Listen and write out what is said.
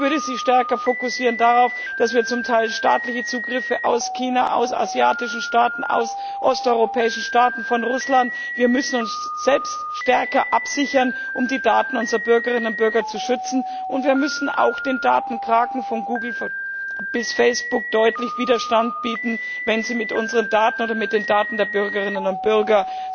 Ich würde sie stärker darauf fokussieren, dass wir zum Teil staatliche Zugriffe aus China, aus asiatischen Staaten, aus osteuropäischen Staaten, von Russland haben. Wir müssen uns selbst stärker absichern, um die Daten unserer Bürgerinnen und Bürger zu schützen, und wir müssen auch den Datenkraken von Google bis Facebook deutlich Widerstand bieten, wenn sie mit unseren Daten oder mit den Daten der Bürgerinnen und Bürger